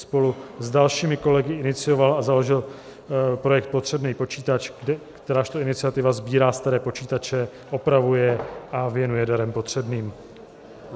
Spolu s dalšími kolegy inicioval a založil projekt Potřebnej počítač, kterážto iniciativa sbírá staré počítače, opravuje je a věnuje darem potřebným.